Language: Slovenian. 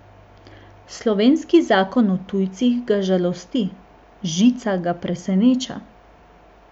Slovenski zakon o tujcih ga žalosti, žica ga preseneča.